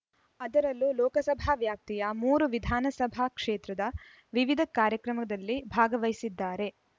ಅದರಲ್ಲೂ ಲೋಕಸಭಾ ವ್ಯಾಪ್ತಿಯ ಮೂರು ವಿಧಾನಸಭಾ ಕ್ಷೇತ್ರದ ವಿವಿಧ ಕಾರ್ಯಕ್ರಮದಲ್ಲಿ ಭಾಗವಹಿಸಿದ್ದಾರೆ